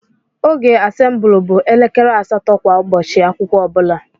Oge assemble bụ elekere asatọ kwa Ụbọchị akwụkwọ ọbula.